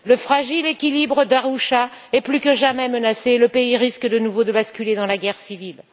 Le fragile équilibre d'Arusha est plus que jamais menacé et le pays risque de nouveau de basculer dans la guerre civile.